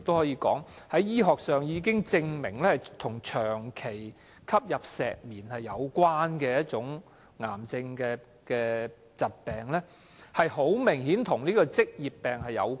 醫學上已經證明間皮瘤是長期吸入石棉所引致的癌症，明顯與職業病有關。